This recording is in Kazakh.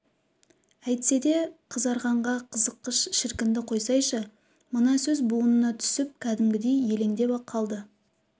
әйтсе де қызарғанға қызыққыш шіркінді қойсайшы мына сөз буынына түсіп кәдімгідей елеңдеп қалды